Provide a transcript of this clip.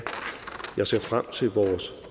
jeg ser frem til vores